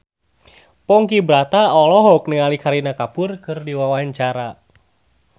Ponky Brata olohok ningali Kareena Kapoor keur diwawancara